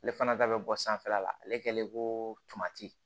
Ale fana da bɛ bɔ sanfɛla la ale kɛlen ko tamati